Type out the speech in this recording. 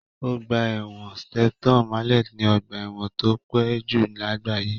Ọgbà ẹ̀wọ̀n Shepton Mallet ni ọgbà ẹ̀wọ̀n tó pẹ́ jù lágbàáyé.